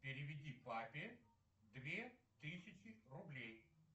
переведи папе две тысячи рублей